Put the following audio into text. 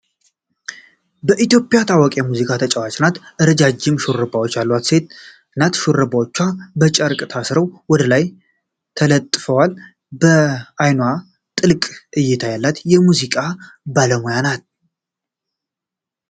በኢትዮጵያ ታዋቂ የሙዚቃ ተጨዋች ናት። ረዣዥም ሹሩባዎች ያላት ቆንጆ ሴት ናት። ሹሩባዎቹ በጨርቅ ታስረው ወደላይ ተለጥፈዋል። በአይንዋ ጥልቅ እይታ ያላት የሙዚቃ ባለሙያ ናት።